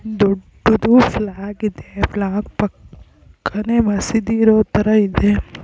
ದೊಡ್ಡದು ಫ್ಲಾಗ್ ಇದೆ ಫ್ಲಾಗ್ ಪಕ್ಕ ನೇ ಮಸೀದಿ ಇರೋ ತರ ಇದೆ.